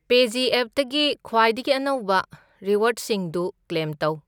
ꯄꯦꯖꯤꯑꯦꯞꯇꯒꯤ ꯈ꯭ꯋꯥꯏꯗꯒꯤ ꯑꯅꯧꯕ ꯔꯤꯋꯥꯔ꯭ꯗꯁꯤꯡꯗꯨ ꯀ꯭ꯂꯦꯝ ꯇꯧ꯫